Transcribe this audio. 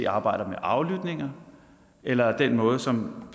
arbejder med aflytninger eller den måde som